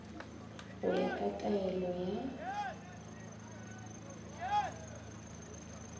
go ya ka taelo ya